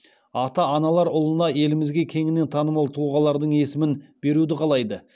ата аналар ұлына елімізге кеңінен танымал тұлғалардың есімін беруді қалайды